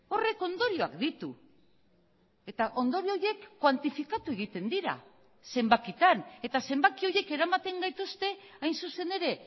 horrek ondorioak ditu eta ondorio horiek kuantifikatu egiten dira zenbakitan eta zenbaki horiek eramaten gaituzte hain zuzen ere